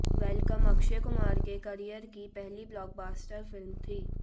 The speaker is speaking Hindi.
वेलकम अक्षय कुमार के करियर की पहली ब्लॉकबस्टर फिल्म थी